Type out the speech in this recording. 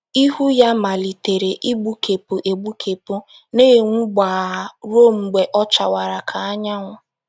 Ihu ya malitere igbukepụ egbukepụ, na - enwu gbaa ruo mgbe ọ chawara ka anyanwụ.